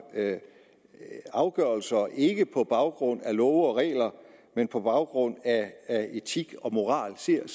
afgørelser ikke på baggrund af love og regler men på baggrund af etik og moral ser